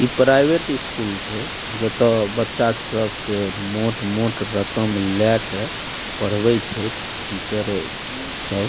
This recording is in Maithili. ई प्राइवेट स्कूल छै जता बच्चा सब से मोट मोट रकम लाके पढ़वे छै टीचर सब --